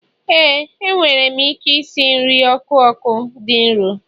éè, enwere m ike esi nri ọkụkọ dị nro